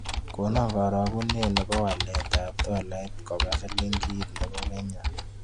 Konon karagunet ne po waletap tolait koba silingit ne po kenya